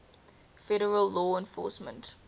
federal law enforcement